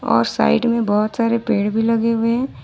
और साइड में बहुत सारे पेड़ भी लगे हुए हैं।